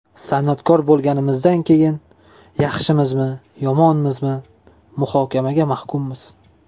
San’atkor bo‘lganimizdan keyin, yaxshimizmi-yomonmizmi, muhokamaga mahkummiz.